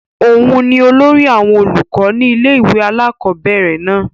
òun ni olórí àwọn olùkọ́ ni ilé ìwé àkọ́bẹ̀rẹ̀ náà